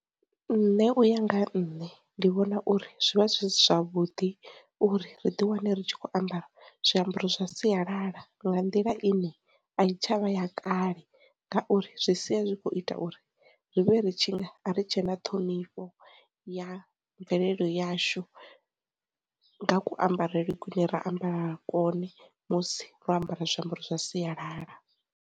Nṋe uya nga ha nne ndi vhona uri zwi vha zwi si zwavhuḓi uri ri ḓi wane ri tshi kho ambara zwiambaro zwa sialala nga nḓila ine a tshi tshavha ya kale, ngauri zwi sia zwi khou u ita uri ri vhe ri tshi ri tshe na ṱhonifho ya mvelelo yashu nga ku ambarele kune ra ambara kone musi ro ambara zwiambaro zwa sialala.